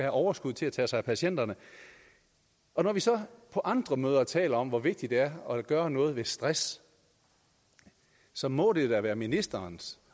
overskud til at tage sig af patienterne når vi så på andre møder taler om hvor vigtigt det er at gøre noget ved stress så må det da være ministerens